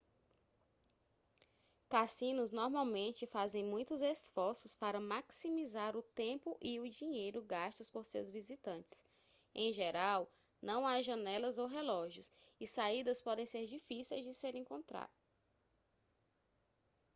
cassinos normalmente fazem muitos esforços para maximizar o tempo e o dinheiro gastos por seus visitantes em geral não há janelas ou relógios e saídas podem ser difíceis de se encontrar